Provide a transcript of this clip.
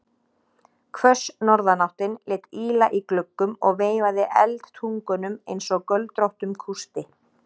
Hvöss norðanáttin lét ýla í gluggum og veifaði eldtungunum einsog göldróttum kústi.